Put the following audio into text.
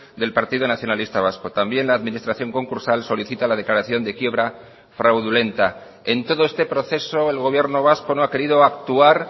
del partido nacionalista vasco también la administración concursal solicita la declaración de quiebra fraudulenta en todo este proceso el gobierno vasco no ha querido actuar